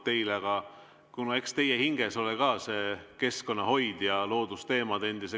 Eks endise keskkonnaministrina ole teie hinges ka see keskkonnahoid ja loodusteemad.